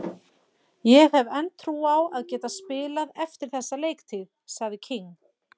Ég hef enn trú á að geta spilað eftir þessa leiktíð, sagði King.